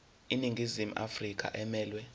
iningizimu afrika emelwe